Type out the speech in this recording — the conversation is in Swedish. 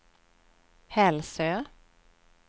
Hälsö